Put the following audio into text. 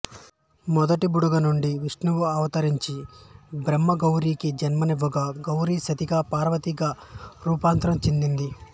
మొదటి బుడగ నుండి విష్ణువు అవతరించి బ్రహ్మకి గౌరికీ జన్మనివ్వగా గౌరి సతిగా పార్వతిగా రూపాంతరం చెందినది